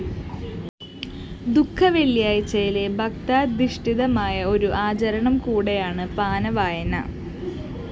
ദുഃഖവെള്ളിയാഴ്ചയിലെ ഭക്ത്യാധിഷ്ഠിതമായ ഒരു ആചരണം കൂടിയാണ് പാനവായന